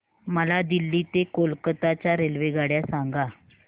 मला दिल्ली ते कोलकता च्या रेल्वेगाड्या सांगा